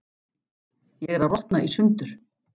Ég er að rotna í sundur.